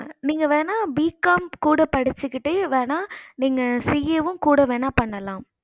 நீங்க வேண்ணா BCOM படிச்சிட்டு வேண்ணா நீங்க CA கூட வேண்ணா பண்ணலாம்